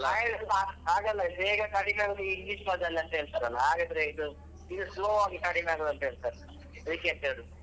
ಹಾಗಲ್ಲ ಇದು ಬೇಗ ಕಡಿಮೆಯಾಗುದು ಈ English ಮದ್ದಲ್ಲಿ ಅಂತ ಹೇಳ್ತಾರಲ್ವ ಹಾಗಾದ್ರೆ ಇದು ಇದು slow ಆಗಿ ಕಡಿಮೆಯಾಗುದು ಅಂತ ಹೇಳ್ತಾರೆ ಅದಿಕ್ಕೆ ಎಂತ ಹೇಳುದು.